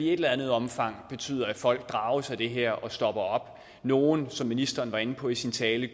eller andet omfang betyder at folk drages af det her og stopper op nogle som ministeren var inde på i sin tale